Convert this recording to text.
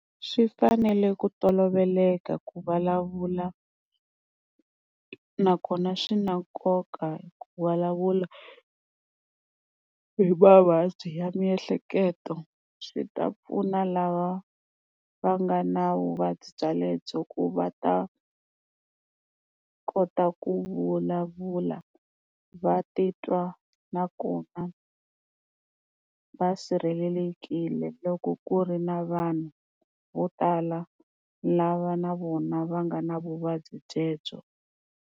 Swi fanele ku toloveleka ku vulavula, nakona swi na nkoka ku vulavula hi mavabyi ya miehleketo, swi ta pfuna lava va nga na vuvabyi byalebyo ku va ta kota ku vulavula, va titwa nakona va sirhelelekile loko ku ri na vanhu vo tala lava na vona va nga na vuvabyi byebyo.